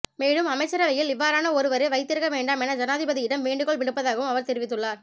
மேலும் அமைச்சரவையில் இவ்வாறான ஒருவரை வைத்திருக்க வேண்டாம் என ஜனாதிபதியிடம் வேண்டுகோள் விடுப்பதாகவும் அவர் தெரிவித்துள்ளார்